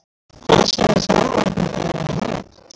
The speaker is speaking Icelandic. Hvað sögðu þjálfararnir eiginlega í hálfleik?